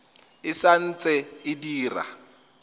e sa ntse e dira